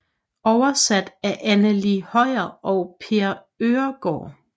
Oversat af Anneli Høier og Per Øhrgaard